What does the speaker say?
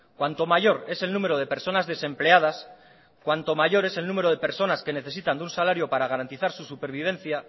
cuanto mayor es el número de personas desempleadas cuanto mayor es el número de personas que necesitan de un salario para garantizar su supervivencia